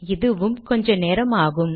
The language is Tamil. இதுவும் கொஞ்ச நேரம் ஆகும்